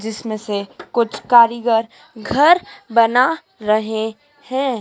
जिसमें से कुछ कारीगर घर बना रहे हैं।